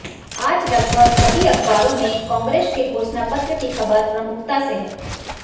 आज लगभग सभी अखबारों में कांग्रेस के घोषणापत्र की खबर प्रमुखता से है